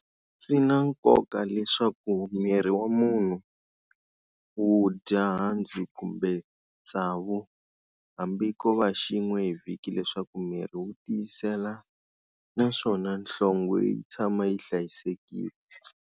Swina nkoka leswku mirhi wa munhu wu dya handzu kumbe tsavu hambi kova xin'we hi vhiki leswaku mirhi wu tiyela naswona nhlongwe yi tshama yi hlayisekile.